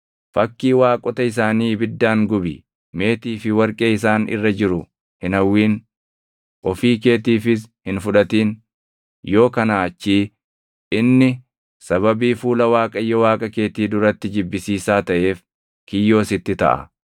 Fakkii waaqota isaanii ibiddaan gubi; meetii fi warqee isaan irra jiru hin hawwin; ofii keetiifis hin fudhatin; yoo kanaa achii inni sababii fuula Waaqayyo Waaqa keetii duratti jibbisiisaa taʼeef kiyyoo sitti taʼa.